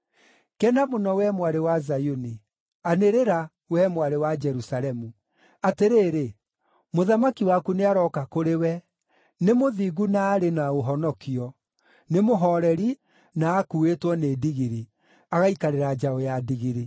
Kena mũno, wee Mwarĩ wa Zayuni! Anĩrĩra, wee Mwarĩ wa Jerusalemu! Atĩrĩrĩ, mũthamaki waku nĩarooka kũrĩ we, nĩ mũthingu na arĩ na ũhonokio, nĩ mũhooreri na akuuĩtwo nĩ ndigiri, agaikarĩra njaũ ya ndigiri.